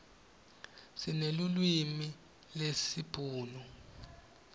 sinelulwimi lesibhunu